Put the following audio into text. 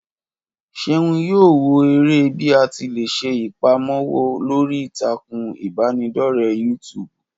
Ṣeun yóò wò eré bí àti lé se ìpamọ́wọ́ lórí ìtàkùn ìbánidọ́rẹ́ yútúbú.